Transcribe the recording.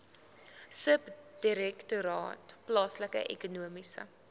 subdirektoraat plaaslike ekonomiese